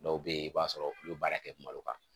Dɔw bɛ yen i b'a sɔrɔ olu bɛ baara kɛ malo kan